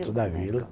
Dentro da vila.